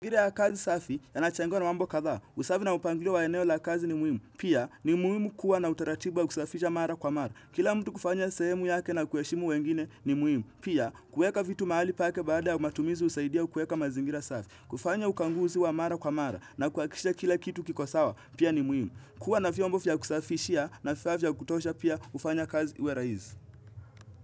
Angire ya kazi safi, yanachangiwa na mambo kadha a. Usafi na upangilio wa eneo la kazi ni muhimu. Pia, ni muhimu kuwa na utaratibu wa kusafisha mara kwa mara. Kila mtu kufanya sehemu yake na kuheshimu wengine ni muhimu. Pia, kueka vitu mahali pake baada ya matumizi husaidia kuweka mazingira safi. Kufanya ukaguzi wa mara kwa mara na kuhakikisha kila kitu kiko sawa, pia ni muhimu. Kuwa na vyombo vya kusafishia na vifaa vya kutosha pia hufanya kazi iwe rahisi.